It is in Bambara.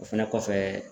O fɛnɛ kɔfɛ